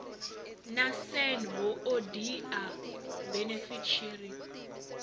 na san hoodia benefit sharing